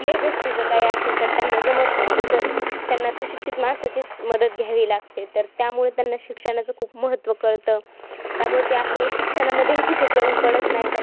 कुठल्याही गोष्टीचं काही असेल तर त्यांना जमत नाही. जसं त्यांना सुशिक्षित माणसाचीचं मदत घ्यावी लागते. तर त्यामुळे त्यांना शिक्षणाचे खूप महत्त्व कळतं. त्यामुळे ते आपल्याला शिक्षणामध्येही कुठे कमी पडत नाही